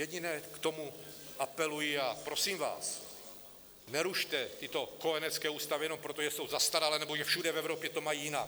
Jediné k tomu apeluji a prosím vás, nerušte tyto kojenecké ústavy jenom proto, že jsou zastaralé nebo že všude v Evropě to mají jinak.